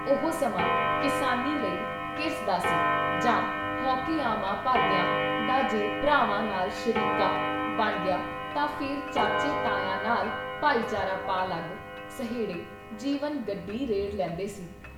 ਉਹ ਸਮਾਂ ਕਿਸਾਨੀ ਲਈ ਕਿਰਸ ਦਾ ਸੀ ਜਾਂ ਹੌਕੇ-ਆਹਵਾਂ ਭਰਦਿਆਂ ਦਾ ਜੇ ਭਰਾਵਾਂ ਨਾਲ ਸ਼ਰੀਕਾ ਬਣ ਗਿਆ ਤਾਂ ਫਿਰ ਚਾਚੇ ਤਾਇਆਂ ਨਾਲ ਭਾਈਚਾਰਾ ਪਾ ਲੱਗ- ਸਹੇੜੇ ਜੀਵਨ ਗੱਡੀ ਰੇੜ੍ਹ ਲੈਂਦੇ ਸੀ।